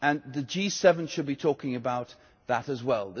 The G7 should be talking about that as well.